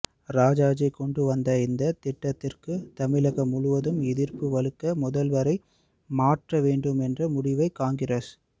ராஜாஜி கொண்டு வந்த இந்த திட்டத்திற்கு தமிழகம் முழுதும் எதிர்ப்பு வலுக்க முதல்வரை மாற்ற வேண்டும் என்ற முடிவை காங்கிரஸ்